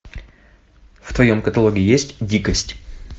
в твоем каталоге есть дикость